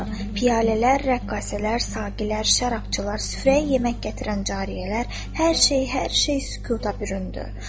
Piyalələr, rəqqasələr, saqilər, şərabçılar, süfrəyə yemək gətirən cariyələr, hər şey, hər şey sükuta büründü.